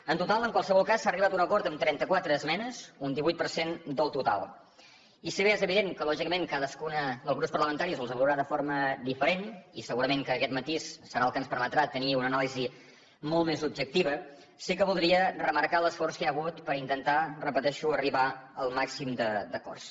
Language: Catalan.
en total en qualsevol cas s’ha arribat a un acord amb trenta quatre esmenes un divuit per cent del total i si bé és evident que lògicament cadascun dels grups parlamentaris les veurà de forma diferent i segurament que aquest matís serà el que ens permetrà tenir una anàlisi molt més objectiva sí que voldria remarcar l’esforç que hi ha hagut per intentar ho repeteixo arribar al màxim d’acords